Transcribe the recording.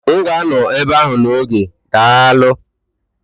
M ga-anọ ebe ahụ n'oge, daalụ